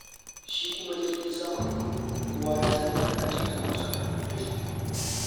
Shi kuwa jirgin sama, kowa ya san harka ce ta masu hannu da shuni.